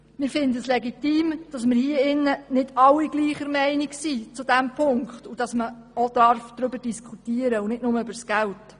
Wir finden es legitim, dass nicht alle Grossrätinnen und Grossräte in diesem Punkt übereinstimmen und dass man auch darüber diskutieren darf und nicht nur über das Geld.